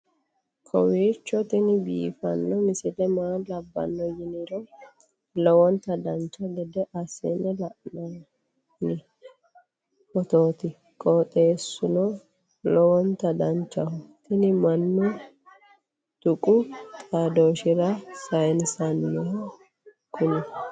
kowiicho tini biiffanno misile maa labbanno yiniro lowonta dancha gede assine haa'noonni foototi qoxeessuno lowonta danachaho. tini mannu tuqu xaadooshshira sayinsooniho kuni